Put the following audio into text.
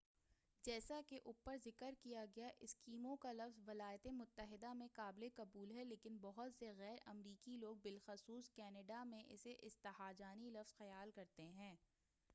جیسا کہ اوپر ذکر کیا گیا اسکیمو کا لفظ ولایاتِ متحدہ میں قابلِ قبول ہے لیکن بہت سے غیر امریکی لوگ بالخصوص کنیڈا میں اسے استہجانی لفظ خیال کرتے ہیں